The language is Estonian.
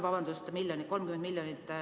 Vabandust!